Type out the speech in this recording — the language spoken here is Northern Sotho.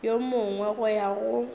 yo mongwe go ya go